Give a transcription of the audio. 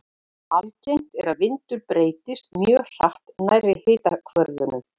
Algengt er að vindur breytist mjög hratt nærri hitahvörfunum.